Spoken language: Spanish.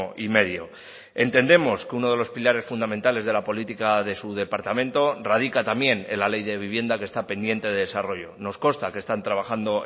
y medio entendemos que uno de los pilares fundamentales de la política de su departamento radica también en la ley de vivienda que está pendiente de desarrollo nos consta que están trabajando